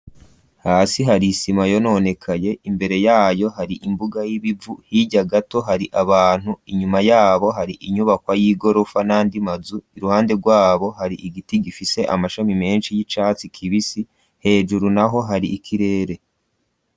Hasi hari isima yononekaye, imbere yayo hari imbuga y'ibivu, hirya gato hari abantu inyuma yabo hari inyubakwa y'igorofa n'andi mazu iruhande rwabo hari igiti gifise amashami menshi y'icatsi kibisi hejuru naho hari ikirere.